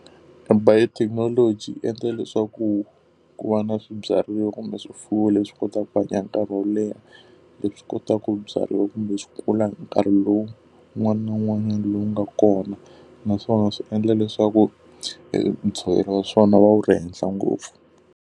E biotechnology yi endla leswaku ku va na swibyariwa kumbe swifuwo leswi kotaka ku hanya hi nkarhi wo leha, leswi kotaka ku byariwa kumbe swi kula hi nkarhi lowu wun'wana na wun'wanyana lowu nga kona. Naswona swi endla leswaku e ntshovelo wa swona wu va wu ri henhla ngopfu.